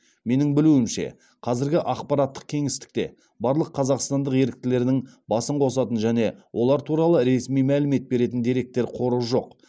менің білуімше қазіргі ақпараттық кеңістікте барлық қазақстандық еріктілердің басын қосатын және олар туралы ресми мәлімет беретін деректер қоры жоқ